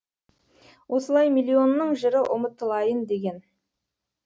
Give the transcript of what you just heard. осылай миллионның жыры ұмытылайын деген